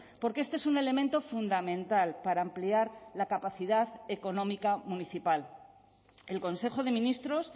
porque este es un elemento fundamental para ampliar la capacidad económica municipal el consejo de ministros